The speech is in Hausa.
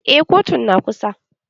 Eh kotun na kusa